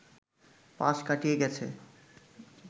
পাশ কাটিয়ে গেছে